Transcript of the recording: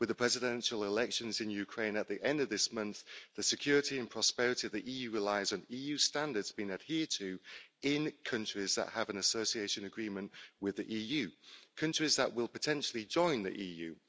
With the presidential elections in Ukraine at the end of this month, the security and prosperity of the EU relies on EU standards being adhered to in countries that have an association agreement with the EU, countries that will potentially join the EU.